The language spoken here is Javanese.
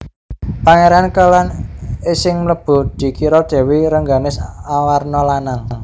Pangéran Kélan sing mlebu dikira Dèwi Rengganis awarna lanang